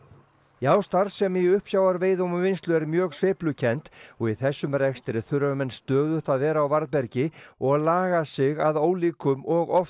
já starfsemi í uppsjávarveiðum og vinnslu er mjög sveiflukennd og í þessum rekstri þurfa menn stöðugt að vera á varðbergi og laga sig að ólíkum og oft